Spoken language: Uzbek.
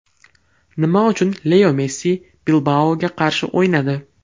Nima uchun Leo Messi Bilbao‘ga qarshi o‘ynadi?